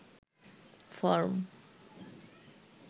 form